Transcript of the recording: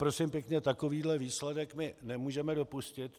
Prosím pěkně, takovýhle výsledek my nemůžeme dopustit.